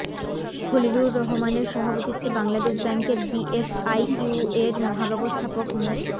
খলিলুর রহমানের সভাপতিত্বে বাংলাদেশ ব্যাংকের বিএফআইইউ এর মহাব্যবস্থাপক মো